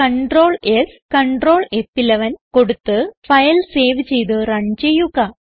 Ctrls Ctrl ഫ്11 കൊടുത്ത് file save ചെയ്ത് റൺ ചെയ്യുക